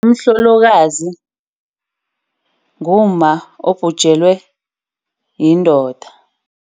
Umhlolokazi ngumma obhujelwe yindoda.